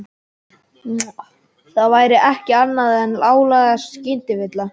Það væri ekki annað en hláleg skynvilla.